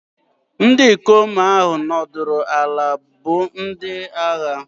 Ndị ikom ahụ nọdụrụ ala bụ ndị agha.